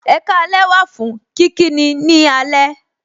Ekaalẹ wà fún kíkí ni ní alẹ.